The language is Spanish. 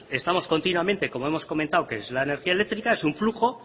estamos continuamente como hemos comentado que es la energía eléctrica es un flujo